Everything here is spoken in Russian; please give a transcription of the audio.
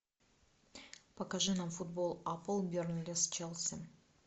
покажи нам футбол апл бернли с челси